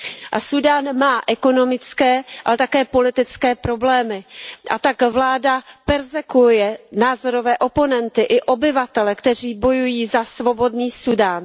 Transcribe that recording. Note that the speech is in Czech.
A Súdán má ekonomické, ale také politické problémy, a tak vláda perzekuuje názorové oponenty i obyvatele, kteří bojují za svobodný Súdán.